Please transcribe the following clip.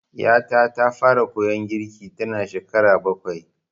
Ƴata ta fara koyon girki tanada shekara bakwai.